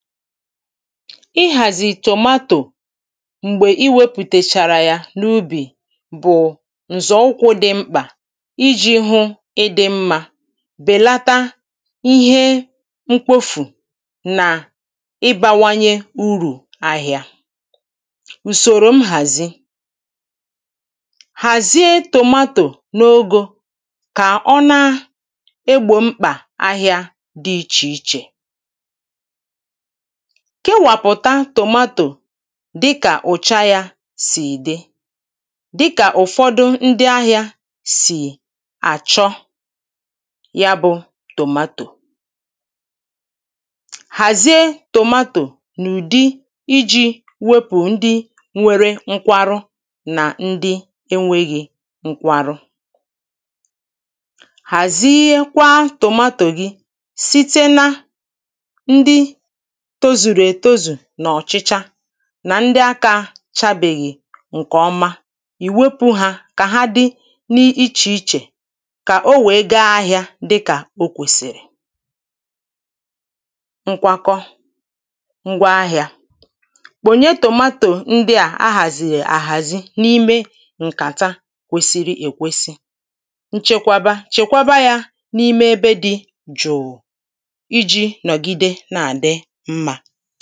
Ịhàzì tomato m̀gbè i wepụ̀tèchàrà ya n’ubì bụ̀ ǹzọ̀ ụkwụ̄ di mkpà ijī hụ ịdị̄ mmā bèlata ihe mkpofù nà ịbāwanye urù ahị̄ā. ùsòrò mhàzi hàzie tomato n’ogō kà ọ na egbò mkpà ahị̄ā dị ichè ichè. kewàpụ̀ta tomato dị kà ụ̀cha ya sì dị, dị kà ụ̀fọdụ ndị ahị̄ā` sì àchọ ya bụ̄ tomato. hàzie tomato n’ụ̀di ijī wepụ̀ ndị nwere nkwarụ nà ndị enwēghī nkwarụ. hàziekwa tomato gị site na ndị tozùrù ètozù n’ọ̀chịcha nà ndị akā chabèghị̀ ǹkè ọma, ị̀ wepụ̄ hā kà ha dị n’ichè ichè kà o wèe ga ahị̄ā dị kà o kwèsìrì. nkwakọ ngwa ahị̄ā kpònye tomato ndị à ahàzìè àhàzi n’ime ǹkàta kwesiri èkwesi. nchekwaba: chèkwaba yā n’ime ebe dị jùù ijī nọ̀gide na-àdị mmā.